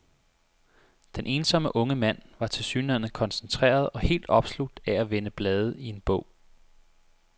Den ensomme unge mand var tilsyneladende koncentreret og helt opslugt af at vende blade i en bog.